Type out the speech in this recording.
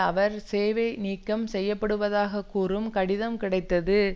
அவர் சேவை நீக்கம் செய்யப்படுவதாகக் கூறும் கடிதம் கிடைத்தது